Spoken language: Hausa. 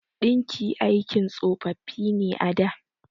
Ɗinki aikin tsofaffi ne a da.